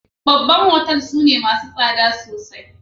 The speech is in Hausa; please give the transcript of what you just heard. Babban otal sune massun sada sosai.